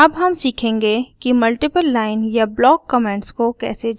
अब हम सीखेंगे कि मल्टीपल लाइन या ब्लॉक कमेंट्स को कैसे जोड़ें